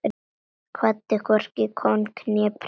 Kvaddi hvorki kóng né prest.